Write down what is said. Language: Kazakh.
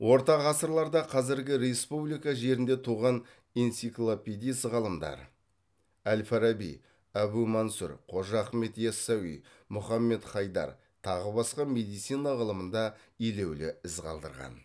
орта ғасырларда қазіргі республика жерінде туған энциклопедист ғалымдар әл фараби әбу мансұр қожа ахмет ясауи мұхаммед хайдар тағы басқа медицина ғылымында елеулі із қалдырған